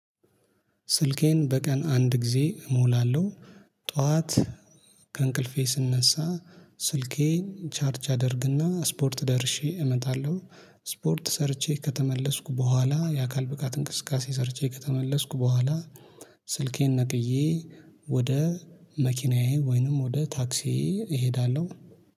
ስልኬን በቀን አንድ ጊዜ እሞላለሁ። ጠዋት ከእንቅልፌ ስንነሳ ስልኬን ቻርጅ አደርግና ስፖርት ደርሼ እመጣለሁ። ስፖርት ሰርቼ ከተመለስኩ በኋላ የአካል ብቃት እንቅስቃሴ ሰርቼ ከተመለስኩ በኋላ። ስልኬን ነቅዬ ወደ መኪናዬ ወይንም ወደ ታክሲዬ እሄዳለሁ